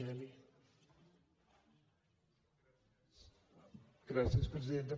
gràcies presidenta